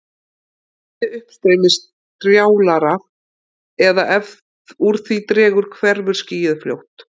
Verði uppstreymið strjálara eða ef úr því dregur hverfur skýið fljótt.